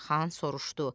Qaraxan soruştu: